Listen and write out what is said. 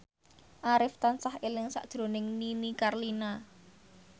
Arif tansah eling sakjroning Nini Carlina